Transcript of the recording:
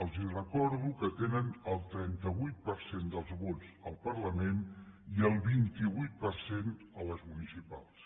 els recordo que tenen el trenta vuit per cent dels vots al parlament i el vint vuit per cent a les municipals